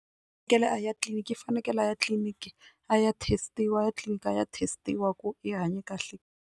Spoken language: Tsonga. U fanekele a ya tliliniki u fanekele a ya etliliniki a ya test-iwa a ya tliliniki a ya test-iwa ku i hanye kahle.